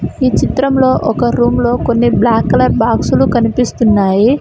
ఈ చిత్రంలో ఒక రూమ్ లో కొన్ని బ్లాక్ కలర్ బాక్సులు కనిపిస్తున్నాయి.